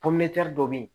dɔ be yen